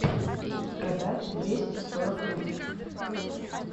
продать двести сорок рупий